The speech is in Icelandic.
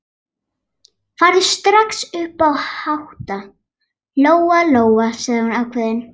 Farðu strax upp að hátta, Lóa-Lóa, sagði hún ákveðin.